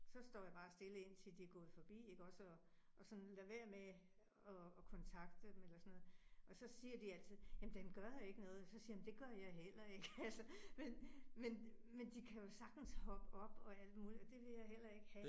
Så står jeg bare stille indtil de gået forbi ikke også og og sådan lader være med at at kontakte dem eller sådan noget, og så siger de altid jamen den gør ikke noget, så siger jeg men det gør jeg heller ikke altså. Men men men de kan jo sagtens hoppe op og alt muligt, og det vil jeg heller ikke have